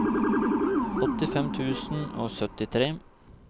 åttifem tusen og syttitre